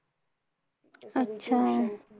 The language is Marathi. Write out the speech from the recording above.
अच्छा!